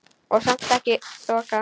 Og samt ekki þoka.